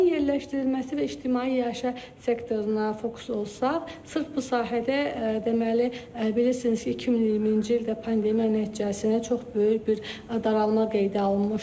Tursenin yerləşdirilməsi və ictimai iaşə sektoruna fokus olsaq, sırf bu sahədə deməli, bilirsiniz ki, 2020-ci ildə pandemiya nəticəsində çox böyük bir daralma qeydə alınmışdı.